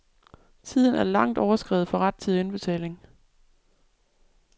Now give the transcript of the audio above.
Tiden er langt overskredet for rettidig indbetaling.